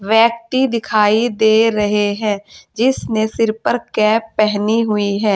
व्यक्ति दिखाई दे रहे हैं जिसने सिर पर कैप पहनी हुई है।